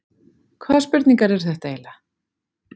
Hvaða spurningar eru þetta eiginlega?